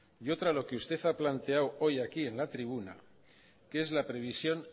y otra lo que usted ha planteado hoy aquí en la tribuna que es la previsión